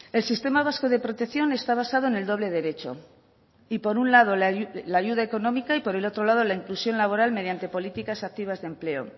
el sistema vasco de protección está basado en el doble derecho y por un lado la ayuda económica y por el otro lado la inclusión laboral mediante políticas activas de empleo